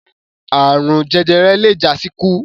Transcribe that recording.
Àrun jẹjẹrẹ le jásíkú.